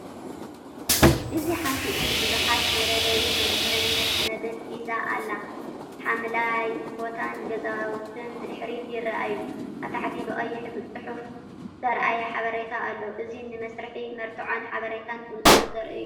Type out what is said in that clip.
እዚ ሓንቲ ኢድ ቡዝሓት መለለዪ መንነትን ሰነዳትን ሒዛ ኣላ፤ ሓምላይ ቦታን ገዛውትን ብድሕሪት ይረኣዩ። ኣብ ታሕቲ ብቐይሕ ጽሑፍ ዝተራእየ ሓበሬታ ኣሎ። እዚ ንመስርሕ መርትዖን ሓበሬታን ብንጹር ዘርኢ እዩ።